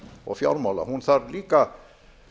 og fjármála hún þarf líka